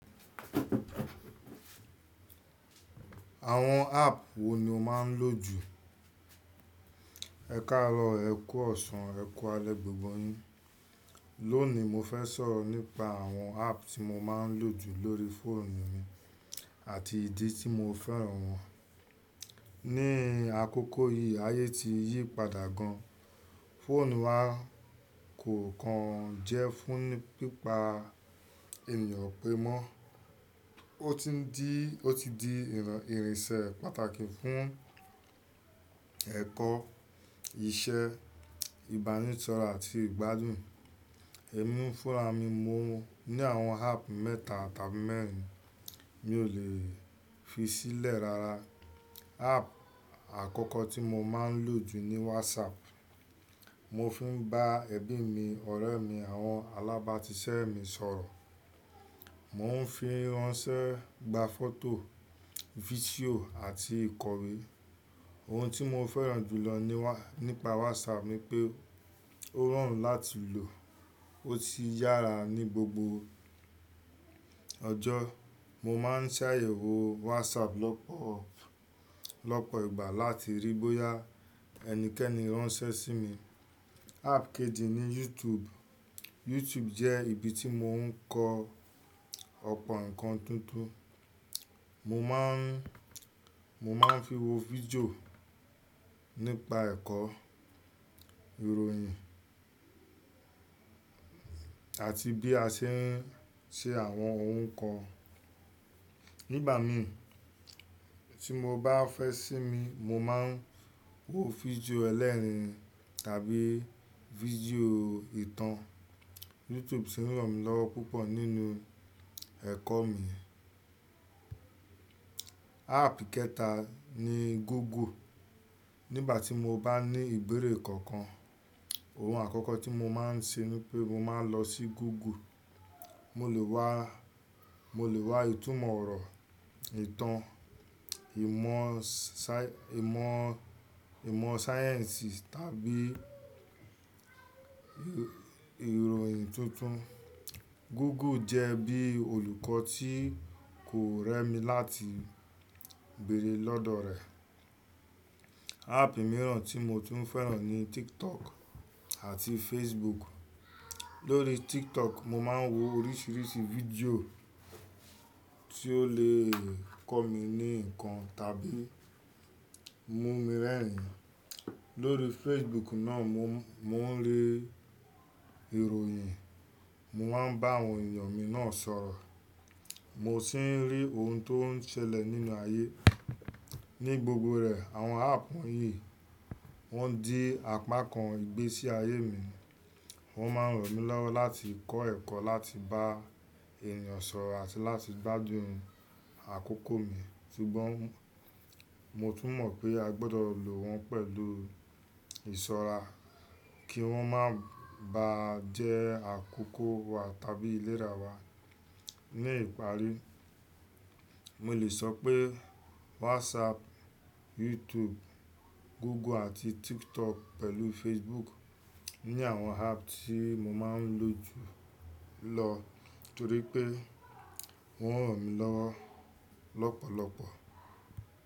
Àwọn app wo ni o máa ń lò jù? Ẹ̀ku arọ́ ẹ̀ku ọ̀sàn ẹ̀ku alẹ gbogbo yín. Lónìí mo fẹ́ sọ̀rọ̀ nípa àwọn app tí mo máa ń lò jù lórí fóònù mi àti ìdí tí mo fẹ́ràn wọ́n. Ni àkókò yìí ayé ti yí padà gan, fóònù wa kò kan jẹ́ fún pípa ènìyàn pé mọ́, ó ti di, ó ti di ìrìnsẹ̀ pàtàkì fún ẹ̀kọ́, iṣẹ́, ìbánisọ̀rọ̀ àti ìgbádùn. Èmi fúnra mi mo ní àwọn app mẹ́ta tàbí mẹ́rin mi ò lè fi sílẹ̀ rara. App àkọ́kọ́ tí mo máa ń lò jù ni WhatsApp. Mo fi ń bá ẹbí mi, ọ̀rẹ́ mi, àwọn alábàátiṣẹ́ mi sọ̀rọ̀. Mo ń fi ránṣẹ́, gba fọ́tò, fídíò àti ìkọ̀wé. Ohun tí mo fẹ́ràn jù lọ nípa WhatsApp ni pé ó rọrùn láti lò, ó sì yára ní gbogbo ọjọ́. Mo máa ń ṣàyẹ̀wò WhatsApp lọ́pọ̀, lọ́pọ̀ ìgbà láti ríi bóyá ẹnikẹ́ni ránṣẹ́ sí mi. App kejì ni YouTube. YouTube jẹ́ ibi tí mò ń kọ́ ọ̀pọ̀ nǹkan tuntun. Mo má ń, mo má ń fi wo fídíò nípa ẹ̀kọ́, ìròyìn àti bí a ṣe ń ṣe àwọn ohun kan. Nígbà mi tí mo bá fẹ́ sími, mo má ń wo fídíò ẹlẹ́rìn-ín tàbí fídíò ìtàn. YouTube sì ń ràn mí lọ́wọ́ púpọ̀ nínú ẹ̀kọ́ mi. App kẹ́ta ni Google. Nígbà tí mo bá ní ìbéèrè kankan, ohun àkọ́kọ́ tí mo má ń ṣe ni pé mo máa ń lọ sí Google. Mo lè wá, mo lè wá ìtumọ̀ ọ̀rọ̀, ìtàn, ìmọ̀ sa-, ìmọ̀, ìmọ̀ sáyẹ́ǹsì tàbí ìròyìn tuntun. Google jẹ́ bí olùkọ́ tí kò rẹ́ mi láti béèrè lọ́dọ̀ rẹ̀. App mìíràn tí mo tún fẹ́ràn ni TikTok àti Facebook. Lórí TikTok, mo má ń wo oríṣiríṣi fídíò tí ó lè kọ́ mi ni nǹkan tàbí mú mi rẹ́rìn-ín. Lórí Facebook náà mo ń rí ìròyìn, mo má ń bá àwọn ènìyàn mi náà sọ̀rọ̀, mo sì ń rí ohun tó ń ṣẹlẹ̀ nínú ayé Ni gbogbo rẹ̀ àwọn app wọ̀nyí wọ́n di apá kan ìgbésí ayé mi. Wọ́n má ń ràn mí lọ́wọ́ láti kọ́ ẹ̀kọ́, láti bá ènìyàn sọ̀rọ̀ àti láti gbádùn àkókò mi. Ṣùgbọ́n mo tún mọ̀ pé a gbọdọ̀ lò wọ́n pẹ̀lú ìṣọ́ra kí wọ́n má ba jẹ́ àkókò wa tàbí ìlera wa. Ni ìparí, mo lè sọ pé WhatsApp, YouTube, Google àti TikTok pẹ̀lú Facebook ni àwọn app tí mo máa ń lò jù lọ torí pé wọ́n ń ràn mí lọ́wọ́ lọ́pọ̀lọ́pọ̀.